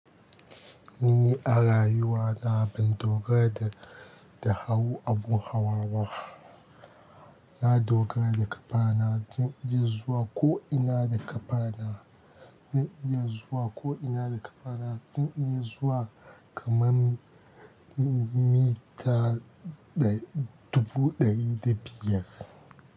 Ni a rayuwa na ban dogara da, da hawo abun hawa ba. Na dogara da ƙafana zan iya zuwa ko ina da ƙafana, zan iya zuwa ko ina da ƙafana, zan in iya zuwa kaman mita dubu ɗari da biyar.